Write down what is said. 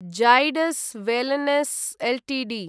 Zydus wellness Ltd